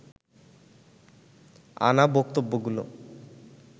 আনা বক্তব্যগুলো